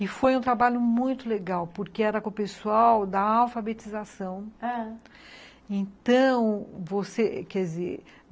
E foi um trabalho muito legal, porque era com o pessoal da alfabetização, ãh, então você, quer dizer